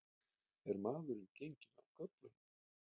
Er maðurinn genginn af göflunum?